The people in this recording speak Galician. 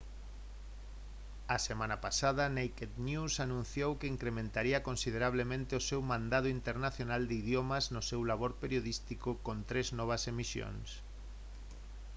a semana pasada naked news anunciou que incrementaría considerablemente o seu mandado internacional de idiomas no seu labor periodístico con tres novas emisións